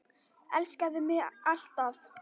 Elskaðu mig alt af.